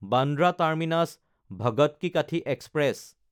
বান্দ্ৰা টাৰ্মিনাছ–ভাগত কি কঠি এক্সপ্ৰেছ